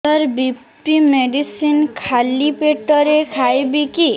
ସାର BP medicine ଖାଲି ପେଟରେ ଖାଇବି କି